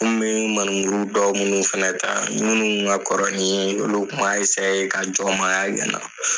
bɛ maneburu dɔw minnu fana ta minnu kun ka kɔrɔ ni n ye olu kun ma ka jɔnmaaya kɛ n na.